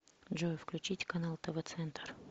джой включить канал тв центр